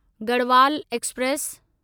Garhwal express